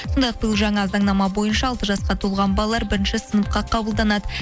сондай ақ биыл жаңа заңнама бойынша алты жасқа толған балалар бірінші сыныпқа қабылданады